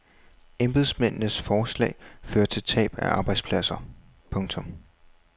Embedsmændenes forslag fører til tab af arbejdspladser. punktum